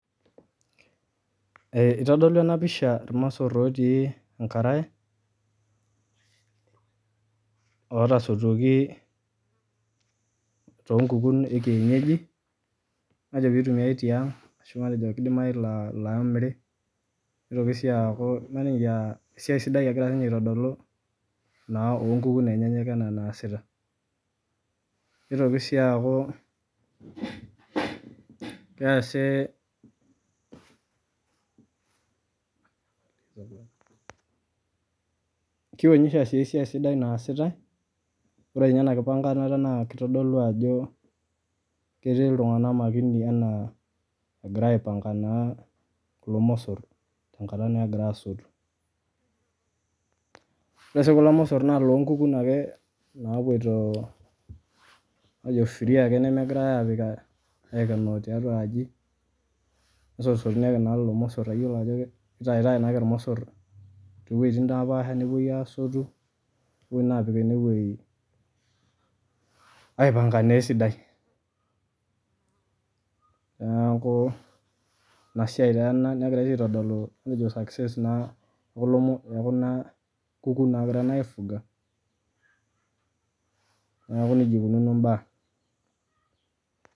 eitodolu ena pisha irmosor ooti enkarae ootasotuoki toonkukun ee kienyeji peeitumiai tiang' arashu mateo keidimayu ataa ilaamiri neitoki sii aaku esiai sidai ninye egira aitodolu naa oonkukun enyanak enaa enaasita neitoki sii aaku ketodolu esiai sidai naasitae ore inye enakimpankanata naa keitodolu ajo ketii iltung'anak makini enaa egirae aipankaa naa kulo mosor tenkata naa egira asotu ore sii kulo mosor naa ilookukun ake naapoito matejo free ake nemepikitae aikenoo tiatua aji kesotusotuni naake kulo mosor amu iyiolo ajo keitayutayu naa ake irmosor tooweitin naapasha nupuoi asotu nepuoi naa aapik ene wei aipanka naa esidai neeku ina siai taa ena negirai tii aitodolu success naa ee kulo mosor oo kuna kukun naagira naayi aifuga neeku nijia eikununo imbaa.